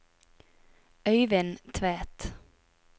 Øivind Tvedt